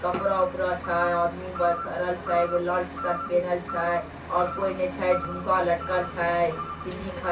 कपड़ा-उपड़ा छै आदमी बाहर खड़ा छै एगो लाल टी-शर्ट पिनहल छै और कोई ने छै झुमका लटकल छै सिल्ली ---